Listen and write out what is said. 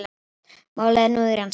Málið er nú í rannsókn